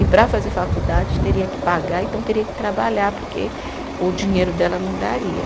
E para fazer faculdade, teria que pagar, então teria que trabalhar, porque o dinheiro dela não daria.